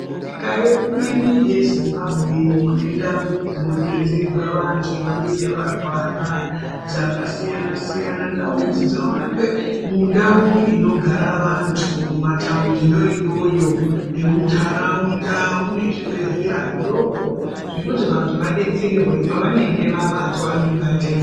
Nyika yedu ineyi yeZimbabwe mune ndau dzinodetserwe vanthu vanenge varwara dzakasiyana siyana ndau idzi dzinowanikwe mundau inogara anthu mumataundiyo iyoyo nemuntharaunda mune zvibhedhlera zvidoko zvekuti vanthu vadetserwe pavanenge vabatwa ngematenda.